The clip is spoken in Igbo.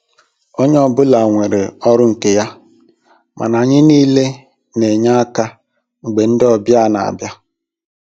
Onye ọ bụla nwere ọrụ nke ya, mana anyị niile n'enye aka mgbe ndị ọbịa n'abịa.